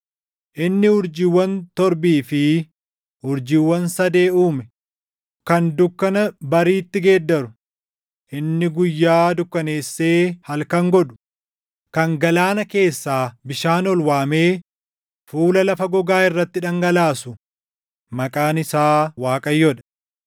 Inni urjiiwwan Torbii fi urjiiwwan Sadee uume, kan dukkana bariitti geeddaru, inni guyyaa dukkaneessee halkan godhu, kan galaana keessaa bishaan ol waamee fuula lafa gogaa irratti dhangalaasu maqaan isaa Waaqayyoo dha.